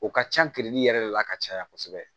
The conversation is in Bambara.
O ka ca yɛrɛ de la ka caya kosɛbɛ